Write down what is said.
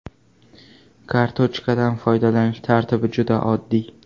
Kartochkadan foydalanish tartibi juda oddiy.